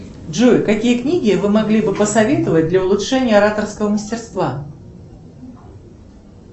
джой какие книги вы могли бы посоветовать для улучшения ораторского мастерства